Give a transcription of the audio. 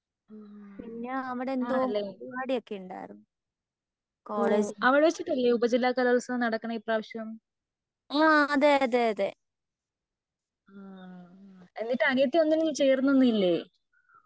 ഉം ആണല്ലേ ഓ അവിടെവെച്ചിട്ടല്ലേ ഉപജില്ല കലോൽത്സവം നടക്കണേ ഇപ്രാവശ്യം. ഹും എന്നിട്ട് അനിയത്തി ഒന്നിനും കേറുന്നൊന്നും ഇല്ലേ?